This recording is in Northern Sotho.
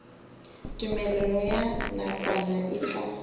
tumelelo ya nakwana e tla